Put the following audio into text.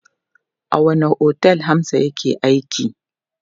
A wanne otel Hamza yake aiki?